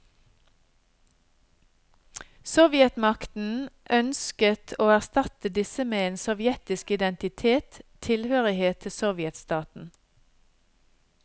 Sovjetmakten ønsket å erstatte disse med en sovjetiske identitet, tilhørighet til sovjetstaten.